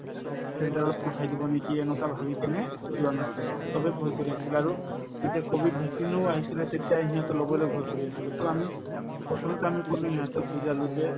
centre ত পঠাই দিব নেকি এনেকুৱা ভাবি কিনে ও যোৱা নাছিলে চবে ভয় কৰি আছিল আৰু যেতিয়া কভিড vaccine ও আহিছিলে তেতিয়াই সিহঁতে লবলে ভয় কৰি আছিলে to আমি প্ৰথমতে আমি কলো সিহঁতক বুজালো যে